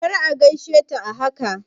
Kar a gaishe ta a haka!